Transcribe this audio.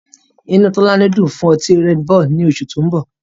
Inú Tọ́lání ń dùn fún ọtí Redbull ní oṣù tó mbọ̀